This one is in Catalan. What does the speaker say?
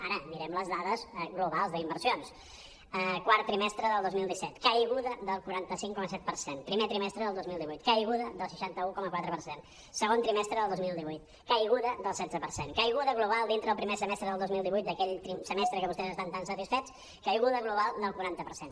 ara mirem les dades globals d’inversions quart trimestre del dos mil disset caiguda del quaranta cinc coma set per cent primer trimestre del dos mil divuit caiguda del seixanta un coma quatre per cent segon trimestre del dos mil divuit caiguda del setze per cent caiguda global dintre del primer semestre del dos mil divuit d’aquell semestre que vostès estan tan satisfets caiguda global del quaranta per cent